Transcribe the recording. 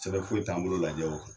Sɛbɛn foyi t'an bolo lajɛ o kan